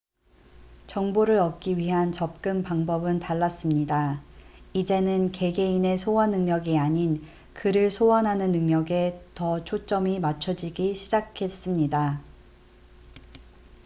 정보를 얻기 위한 접근 방법은 달랐습니다 이제는 개개인의 소환 능력이 아닌 글을 소환하는 능력에 더 초점이 맞춰지기 시작했습니다